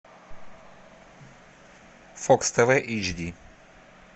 фокс тв эйч ди